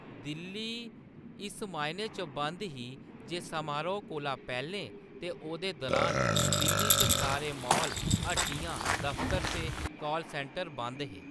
दिल्ली इस मायने च बंद ही जे समारोह्‌‌ कोला पैह्‌‌‌लें ते ओह्‌‌‌दे दरान दिल्ली च सारे मॉल, हट्टियां, दफतर ते कॉल सेंटर बंद हे।